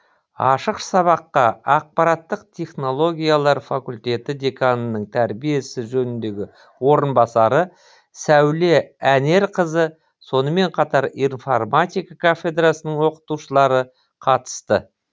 ашық сабаққа ақпараттық технологиялар факультеті деканының тәрбие ісі жөніндені орынбасары сәуле әнерқызы сонымен қатар информатика кафедрасының оқытушылары қатысты